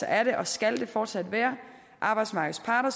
er det og skal det fortsat være arbejdsmarkedets parter